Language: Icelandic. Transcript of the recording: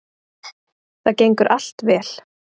Það gengur allt vel